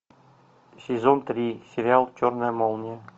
сезон три сериал черная молния